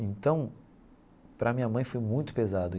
Então, para a minha mãe foi muito pesado.